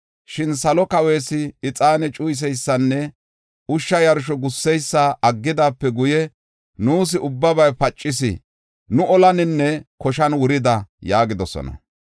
Shin Salo Kawees ixaane cuyiseysanne ushsha yarsho gusseysa aggidaape guye, nuus ubbabay pacis; nu olaninne koshan wurida” yaagidosona.